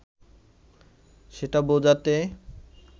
সেটা বোঝাতে